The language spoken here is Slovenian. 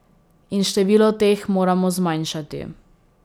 In število teh moramo zmanjšati.